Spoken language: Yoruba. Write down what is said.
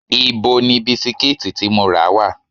Ibo ni bisikíìtì tí mo rà wà?